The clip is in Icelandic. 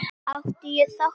Átti ég þátt í því?